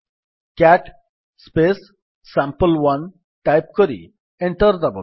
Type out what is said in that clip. CAT sample one type କରି enter ଦାବନ୍ତୁ